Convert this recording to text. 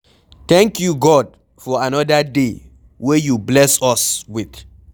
Thank you God for another day wey you bless us with.